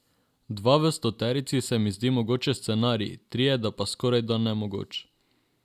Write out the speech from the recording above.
Dva v stoterici se mi zdi mogoč scenarij, trije pa skorajda nemogoč.